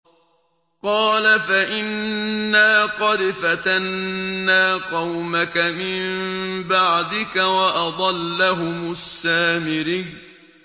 قَالَ فَإِنَّا قَدْ فَتَنَّا قَوْمَكَ مِن بَعْدِكَ وَأَضَلَّهُمُ السَّامِرِيُّ